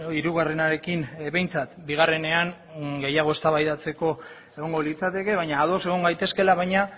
hirugarrenarekin behintzat bigarrenean gehiago eztabaidatzeko egongo litzateke baina ados egon gaitezkeela baina